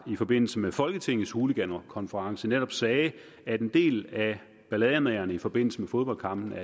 i forbindelse med folketingets hooligankonference netop sagde at en del af ballademagerne i forbindelse med fodboldkampe